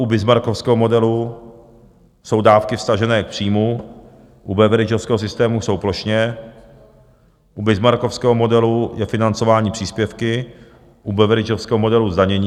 U bismarckovského modelu jsou dávky vztažené k příjmu, u beveridgeovského systému jsou plošně, u bismarckovského modelu je financování příspěvky, u beveridgeovského modelu zdanění.